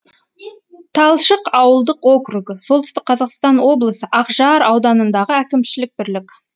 талшық ауылдық округі солтүстік қазақстан облысы ақжар ауданындағы әкімшілік бірлік